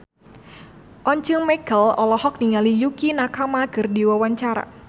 Once Mekel olohok ningali Yukie Nakama keur diwawancara